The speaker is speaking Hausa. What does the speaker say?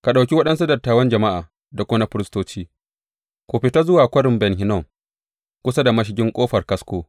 Ka ɗauki waɗansu dattawan jama’a da kuma na firistoci ku fita zuwa Kwarin Ben Hinnom, kusa da mashigin Ƙofar Kasko.